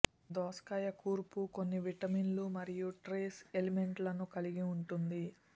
దోసకాయ కూర్పు కొన్ని విటమిన్లు మరియు ట్రేస్ ఎలిమెంట్లను కలిగి ఉంటుంది